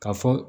Ka fɔ